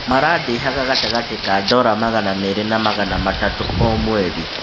"marandĩhaga gatagatĩ ka ndora magana merĩ na magana matatũ o mweri.